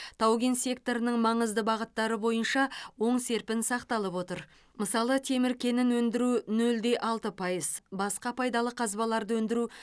тау кен секторының маңызды бағыттары бойынша оң серпін сақталып отыр мысалы темір кенін өндіру нөл де алты пайыз басқа пайдалы қазбаларды өндіру